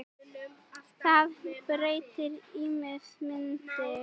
Það breytti ímynd minni.